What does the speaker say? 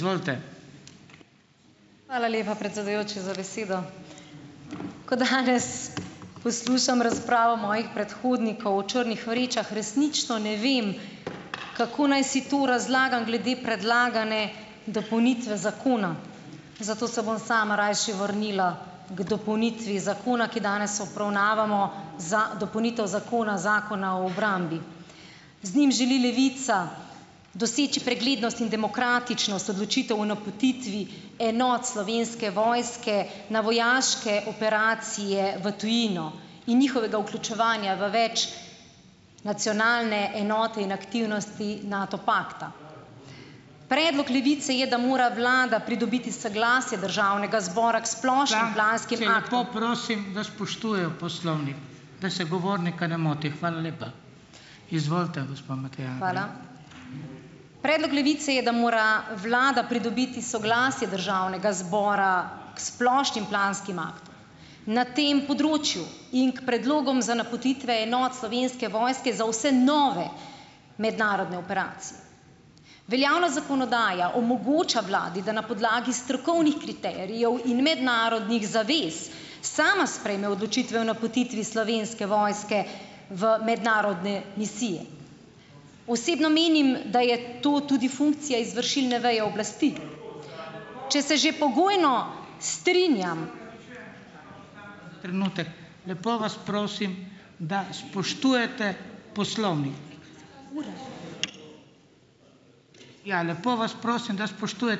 Hvala lepa, predsedujoči, za besedo. Ko danes poslušam razpravo mojih predhodnikov o črnih vrečah, resnično ne vem, kako naj si to razlagam glede predlagane dopolnitve zakona. Zato se bom sama rajši vrnila k dopolnitvi zakona, ki danes obravnavamo, za dopolnitev zakona Zakona o obrambi. Z njim želi Levica doseči preglednost in demokratičnost odločitev o napotitvi enot Slovenske vojske na vojaške operacije v tujino. In njihovega vključevanja v več- nacionalne enote in aktivnosti NATO pakta. Predlog Levice je, da mora vlada pridobiti soglasje državnega zbora k splošni ... Predlog Levice je, da mora vlada pridobiti soglasje državnega zbora k splošnim planskim aktom na tem področju in k predlogom za napotitve enot Slovenske vojske za vse nove mednarodne operacije. Veljavnost zakonodaje omogoča vladi, da na podlagi strokovnih kriterijev in mednarodnih zavez sama sprejeme odločitve o napotitvi Slovenske vojske v mednarodne misije. Osebno menim, da je to tudi funkcija izvršilne veje oblasti. Če se že pogojno strinjam ...